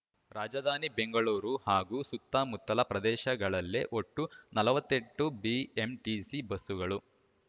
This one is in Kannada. ರಾಜಧಾನಿ ಬೆಂಗಳೂರು ಹಾಗೂ ಸುತ್ತಮುತ್ತಲ ಪ್ರದೇಶಗಳಲ್ಲೇ ಒಟ್ಟು ನಲವತ್ತ್ ಎಂಟು ಬಿಎಂಟಿಸಿ ಬಸ್ಸುಗಳು